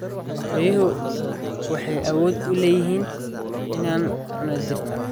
Riyuhu waxay awood u leeyihiin inay cunaan dhirta.